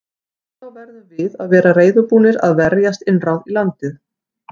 Þá verðum við að vera reiðubúnir að verjast innrás í landið.